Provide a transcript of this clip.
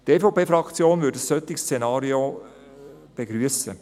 Die EVP-Fraktion würde ein solches Szenario begrüssen.